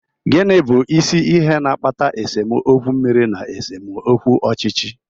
Gịnị bụ isi ihe na-akpata esemokwu mmiri na esemokwu ọchịchị?